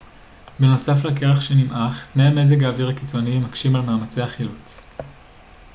בנוסף לקרח שנמעך תנאי מזג האוויר הקיצוניים מקשים על מאמצי החילוץ